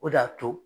O de y'a to